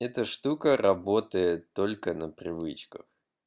это штука работает только на привычках